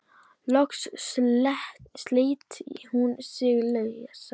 Loks sleit hún sig lausa.